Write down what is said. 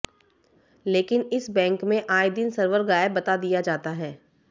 लेकिन इस बैंक में आए दिन सर्वर गायब बता दिया जाता है